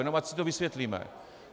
Jenom ať si to vysvětlíme.